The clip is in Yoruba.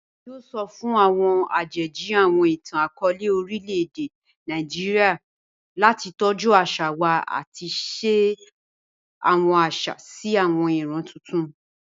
Emi yoo sọ fun awọn ajeji awọn itan-akọọlẹ orilẹ-ede Naijiria lati tọju aṣa wa ati ṣe awọn aṣa si awọn iran tuntun.